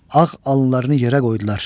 Ağ alınlarını yerə qoydular.